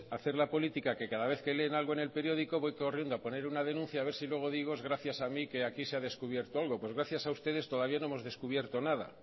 hacer la política que cada vez que leen algo en el periódico voy corriendo a poner una denuncia a ver si luego digo es gracias a mí que aquí se ha descubierto algo pues gracias a ustedes todavía no hemos descubierto nada